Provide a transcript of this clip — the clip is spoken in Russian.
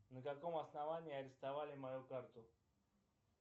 на каком основании арестовали мою карту